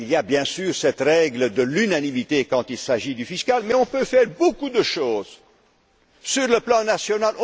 a prises. Il y a, bien sûr, cette règle de l'unanimité quand il s'agit de la fiscalité mais on peut faire beaucoup de choses sur le plan